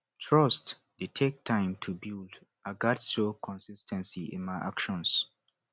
trust dey take time to build i gats show consis ten cy in my actions